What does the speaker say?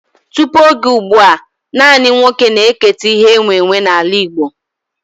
Tụpụ oge ụgbụa, nanị nwa oké na eketa ihe e nwe nwe n'ala Igbo